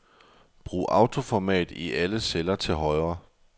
Brug autoformat i alle celler til højre.